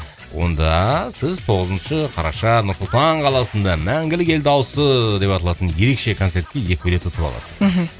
онда сіз тоғызыншы қараша нұр сұлтан қаласында мәңгілік ел дауысы деп аталатын ерекше концертке екі билет ұтып аласыз мхм